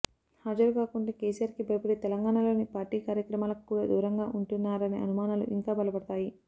హాజరు కాకుంటే కేసీఆర్ కి భయపడి తెలంగాణాలోని పార్టీ కార్యక్రమాలకు కూడా దూరంగా ఉంటున్నారనే అనుమానాలు ఇంకా బలపడతాయి